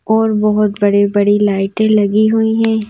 और बहुत बड़ी-बड़ी लाइटें लगी हुई हैं।